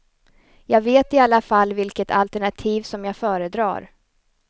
Jag vet i alla fall vilket alternativ som jag föredrar.